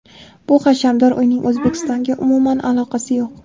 bu hashamdor uyning O‘zbekistonga umuman aloqasi yo‘q.